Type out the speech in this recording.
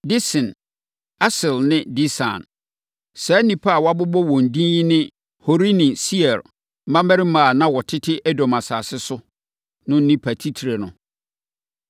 Dison, Eser ne Disan. Saa nnipa a wɔabobɔ wɔn din yi ne Horini Seir mmammarima a na wɔtete Edom asase so no nnipa atitire no.